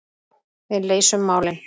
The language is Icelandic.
Við leysum málin.